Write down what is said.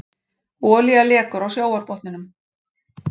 Olía lekur á sjávarbotninum